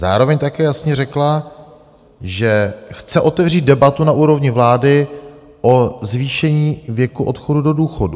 Zároveň také jasně řekla, že chce otevřít debatu na úrovni vlády o zvýšení věku odchodu do důchodu.